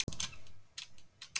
Lögum okkur frekar að henni.